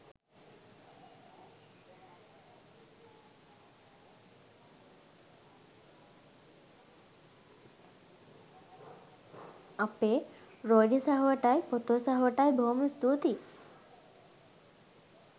අපේ රොයලි සහෝටයි පොතේ සහෝටයි බොහොම ස්තූතියි